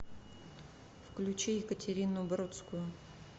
включи екатерину бродскую